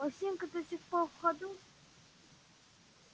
осинка до сих пор в ходу